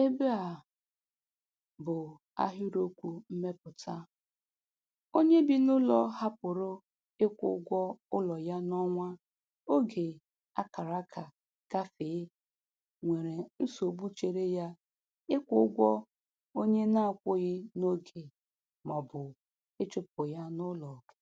Ebe a bụ ahịrịokwu mmepụta: "Onye bị n'ụlọ hapụrụ ịkwụ ụgwọ ụlọ ya n'ọnwa oge a kara aka gafee nwere nsogbu chere ya ịkwụ ụgwọ onye na-akwụghị n'oge ma ọ bụ ịchụpụ ya n'ụlọ.